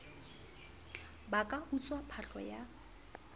ba ka utswa phahlo ya